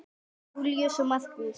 Júlía og Markús.